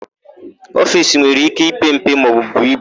Ofiisi nwere íké ipe mpe maọbụ buo ibu.